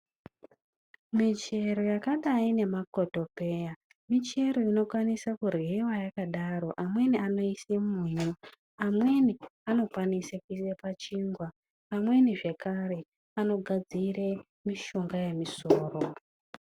Michero yakadayi ngemakotopeya michero inokwanisa kuryiwa yakadaro. Amweni anoise mumuriwo. Amweni anokwanise kuisa pachingwa. Amweni zvekare vanogadzire mishonga yemusoro.